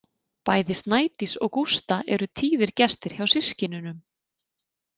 Bæði Snædís og Gústa eru tíðir gestir hjá systkinunum.